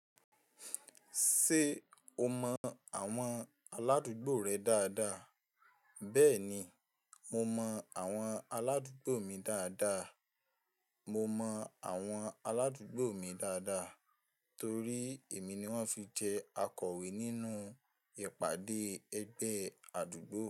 Ṣé o mọ àwọn aládùúgbò rẹ dáadáa? Bẹ́ẹ̀ni, mo mọ àwọn aládùúgbò mi dáadáa. Mo mọ àwọn aládùúgbò mi dáadáa torí èmi ni wọ́n fi jẹ akọ̀wé nínú ìpàdé ẹgbẹ́ àdúgbò.